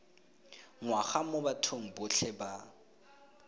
ngwaga mo bathong botlhe ba